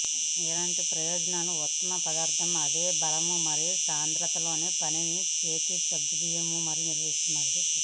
ఇలాంటి ప్రయోగాలు ఉత్తమ పదార్థ అదే బలం మరియు సాంద్రత తో పని తన చేతి సగ్గుబియ్యము నిర్వహిస్తున్నారు